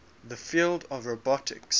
the field of robotics